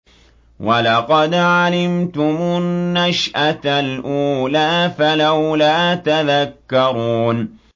وَلَقَدْ عَلِمْتُمُ النَّشْأَةَ الْأُولَىٰ فَلَوْلَا تَذَكَّرُونَ